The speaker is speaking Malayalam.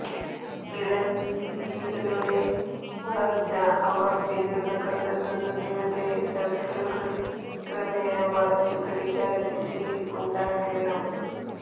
ഇളഞ്ചില്ലികളുടെ വളർച്ച അവർ പിന്തുണ കണ്ടെത്തുന്നതുവരെ സർക്കിളുകൾ ക്രമേണ വളച്ചു ഘടികാരദിശയിൽ ഉണ്ടാക്കേണം